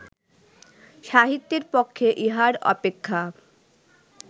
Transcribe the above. সাহিত্যের পক্ষে ইহার অপেক্ষা